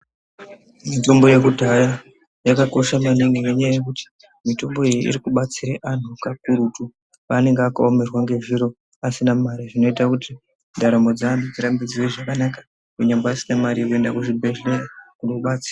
Mitombo yekudhaya yakakosha maningi ngenyaa yokuti mitombo iyi iri kubatsire vanhu kakurutu paanenge akaomerwa nezviro asina mare zvinoita kuti ndaramo dzevanhu dzirambe dziri dzakanaka kunyangwe asina mari yekuenda kuchibhedhleya kunobatsirwa.